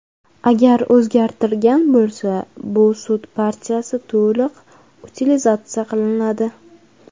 Agar o‘zgartirgan bo‘lsa, bu sut partiyasi to‘liq utilizatsiya qilinadi.